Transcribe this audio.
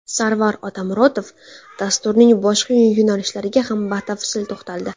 Sarvar Otamuratov dasturning boshqa yo‘nalishlariga ham batafsil to‘xtaldi.